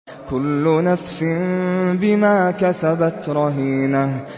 كُلُّ نَفْسٍ بِمَا كَسَبَتْ رَهِينَةٌ